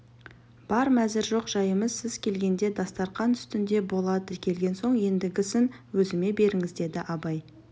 бар мәзір жоқ жайымыз сіз келгенде дастарқан үстінде болады келген соң ендігісін өзіме беріңіз деді абай